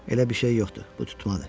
Elə bir şey yoxdur, bu tutmadır.